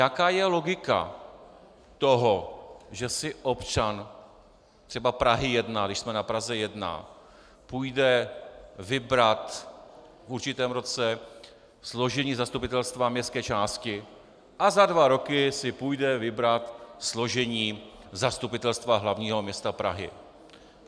Jaká je logika toho, že si občan třeba Prahy 1, když jsme na Praze 1, půjde vybrat v určitém roce složení zastupitelstva městské části a za dva roky si půjde vybrat složení Zastupitelstva hlavního města Prahy?